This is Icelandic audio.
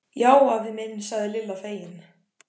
Já afi minn sagði Lilla fegin.